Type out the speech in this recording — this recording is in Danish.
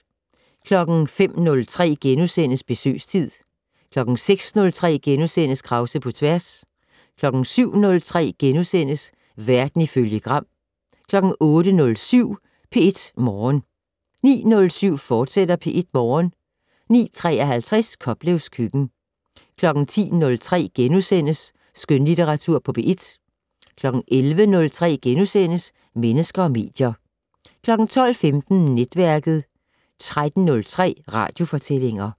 05:03: Besøgstid * 06:03: Krause på tværs * 07:03: Verden ifølge Gram * 08:07: P1 Morgen 09:07: P1 Morgen, fortsat 09:53: Koplevs køkken 10:03: Skønlitteratur på P1 * 11:03: Mennesker og medier * 12:15: Netværket 13:03: Radiofortællinger